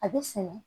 A bɛ sɛnɛ